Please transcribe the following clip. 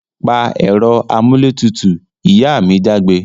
Pa èro amúlé tutù! Ìyá mi jágbe